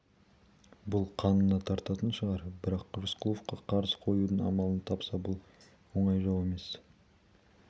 бұл қанына тартатын шығар бірақ рысқұловқа қарсы қоюдың амалын тапса бұл оңай жау емес